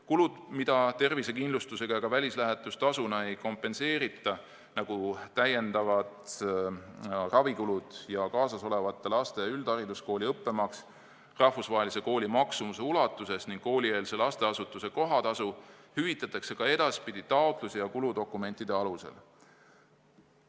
Kulud, mida tervisekindlustusega ega välislähetustasuna ei kompenseerita – näiteks täiendavad ravikulud ja kaasasolevate laste üldhariduskooli õppemaks rahvusvahelise kooli maksumuse ulatuses ning koolieelse lasteasutuse kohatasu –, hüvitatakse ka edaspidi taotluse ja kuludokumentide alusel.